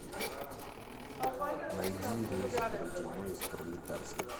найди рейс в бородино из пролетарска